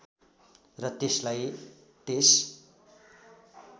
र त्यसलाई त्यस